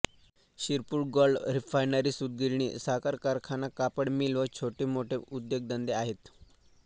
Shirpur gold refinery सूतगिरणी साखर कारखाना कापड मिल व छोटे मोठे उद्योगधंदे आहेत